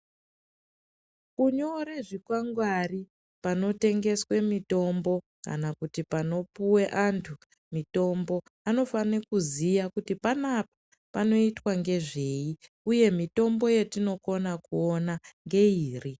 Kunyore zvikwangwari panotengeswe mitombo kana kuti pano puwe antu mitombo, anofane kuziya kuti panapa panoitwa nezvei uye mitombo yetinokona kuona ngeiri.